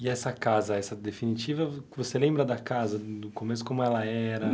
E essa casa, essa definitiva, vo você lembra da casa do começo, como ela era?